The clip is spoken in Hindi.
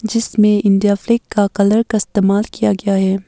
जिसमें इंडिया फ्लैग का कलर का इस्तेमाल किया गया है।